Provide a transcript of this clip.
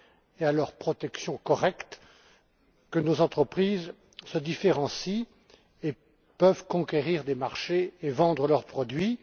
et à leur protection correcte que nos entreprises se différencient et peuvent conquérir des marchés et vendre leurs produits.